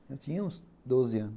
Eu tinha uns doze anos